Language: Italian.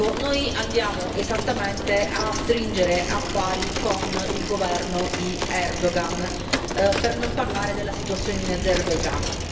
Noi andiamo esattamente a stringere affari con il governo di Erdogan, per non parlare della situazione in Azerbaigian.